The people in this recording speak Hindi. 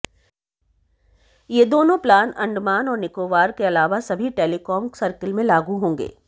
ये दोनों प्लान अंडमान और निकोबार के अलावा सभी टेलिकॉम सर्किल में लागू होंगे